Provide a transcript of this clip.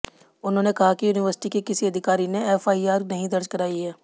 उन्होंने कहा कि यूनिवर्सिटी के किसी अधिकारी ने एफआईआर नहीं दर्ज की है